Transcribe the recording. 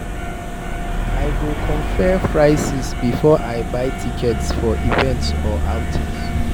I go compare prices before I buy tickets for events or outings.